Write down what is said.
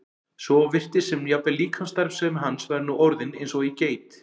svo virtist sem jafnvel líkamsstarfsemi hans væri nú orðin eins og í geit.